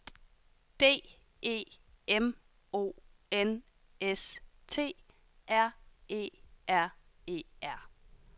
D E M O N S T R E R E R